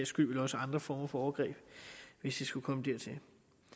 skyld vel også andre former for overgreb hvis det skulle komme dertil